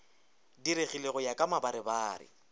diregile go ya ka mabarebare